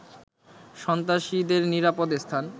সন্ত্রাসীদেরনিরাপদ স্থান